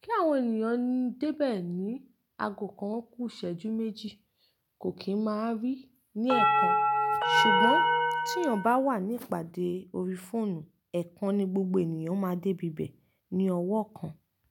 kí àwọn ènìyàn dé bẹ́ẹ̀ ní ago kan kú ìṣẹ́jú méjì, kò kí máa rí ní ẹ̀ẹ̀kan. Ṣùgbọ́n tí èèyàn bá wà ní ìpàdé orí fóònù, ẹ̀ẹ̀kan ni gbogbo ènìyàn máa dé ibi bẹ́ẹ̀ ní ọwọ́ kan.